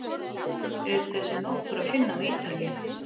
Auk þess er nokkur að finna á Ítalíu.